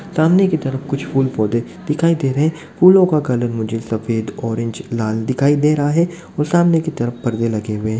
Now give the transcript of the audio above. सामने की तरफ कुछ फूल पौधे दिखाई दे रहे फूलो का कलर मुझे सफ़द ऑरेंज लाल दिखाई दे रहा है और सामने की तरफ पर्दे लगे हुए --